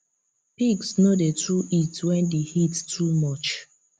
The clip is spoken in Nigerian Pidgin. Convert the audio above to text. pigs no dey too eat wen d heat too much